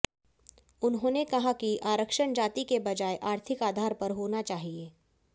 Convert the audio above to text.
उन्होंने कहा कि आरक्षण जाति के बजाय आर्थिक आधार पर होना चाहिए